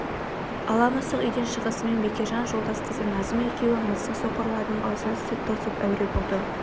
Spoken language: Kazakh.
ала мысық үйден шығысымен бекежан жолдас қызы назым екеуі мысық соқырларының аузына сүт тосып әуре болады